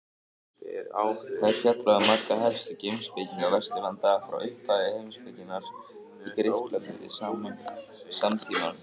Þar er fjallað um marga helstu heimspekinga Vesturlanda frá upphafi heimspekinnar í Grikklandi til samtímans.